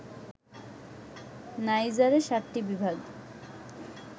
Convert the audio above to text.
নাইজারে ৭টি বিভাগ